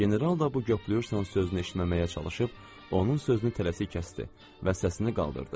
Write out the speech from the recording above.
General da bu 'göpləyirsən' sözünü eşitməməyə çalışıb, onun sözünü tələsi kəsdi və səsini qaldırdı.